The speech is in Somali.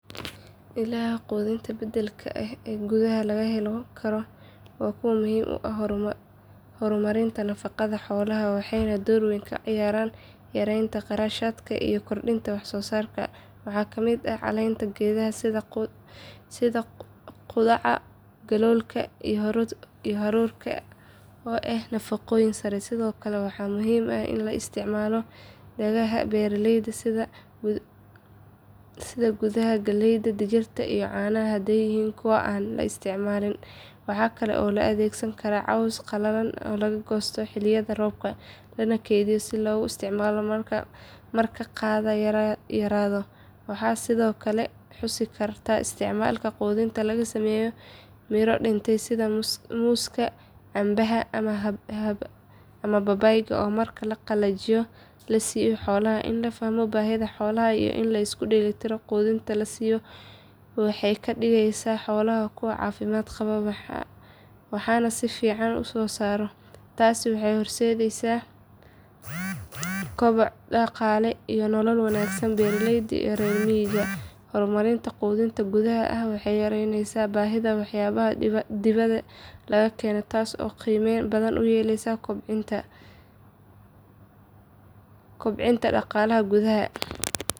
Ilaha quudinta beddelka ah ee gudaha laga heli karo waa kuwo muhiim u ah horumarinta nafaqada xoolaha, waxayna door weyn ka ciyaaraan yareynta kharashaadka iyo kordhinta wax soo saarka. Waxaa ka mid ah caleenta geedaha sida qudhaca, galoolka, iyo haroorka oo leh nafaqooyin sare. Sidoo kale waxaa muhiim ah in la isticmaalo hadhaaga beeraleyda sida hadhuudhka, galleyda, digirta iyo caanaha haday yihiin kuwo aan la isticmaalin. Waxa kale oo la adeegsan karaa cawska qalalan ee laga goosto xilliyada roobka, lana kaydiyo si loogu isticmaalo marka daaqa yaraado. Waxaan sidoo kale xusi karnaa isticmaalka quudinta laga sameeyo miro dhintay sida muuska, canabka ama babaayga oo marka la qalajiyo la siiyo xoolaha. In la fahmo baahida xoolaha iyo in la isku dheelli tiro quudinta la siiyo waxay ka dhigeysaa xoolaha kuwo caafimaad qaba, waxna si fiican u soo saara. Taasi waxay horseedeysaa koboc dhaqaale iyo nolol wanaag beeraleyda iyo reer miyiga. Horumarinta quudinta gudaha ah waxay yareyneysaa baahida waxyaabaha dibadda laga keeno, taas oo qiime badan u leh kobaca dhaqaalaha gudaha.